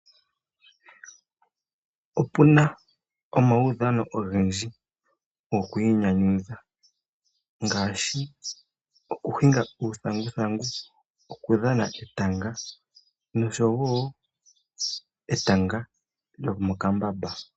Opuna omaudhano ogendji gokwiinyanyudha ngaashi: okuhinga uuthanguthangu, okudhana etanga nosho woo etanga lyo mokambamba.